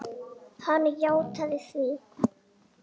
Hann játaði því.